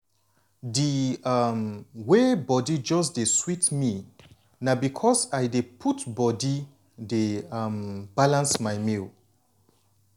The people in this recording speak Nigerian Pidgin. di um way body just dey sweet me na because i dey put body dey um balance my meals.